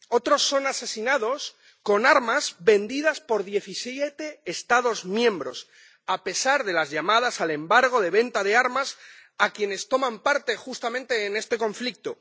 Otros son asesinados con armas vendidas por diecisiete Estados miembros, a pesar de las llamadas al embargo de venta de armas a quienes toman parte en este conflicto